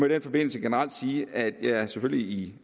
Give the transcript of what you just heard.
den forbindelse generelt sige at jeg selvfølgelig i